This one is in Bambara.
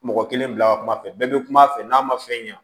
Mɔgɔ kelen bila ka kuma fɛ bɛɛ bɛ kuma a fɛ n'a ma fɛn ɲa